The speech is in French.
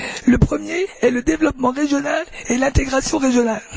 La première est le développement régional et l'intégration régionale.